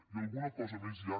i alguna cosa més ja